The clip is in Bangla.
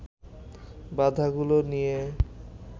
বাধাগুলো নিয়ে